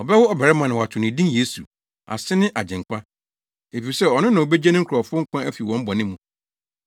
Ɔbɛwo ɔbarima na woato no din Yesu, ase ne Agyenkwa, efisɛ ɔno na obegye ne nkurɔfo nkwa afi wɔn bɔne mu.”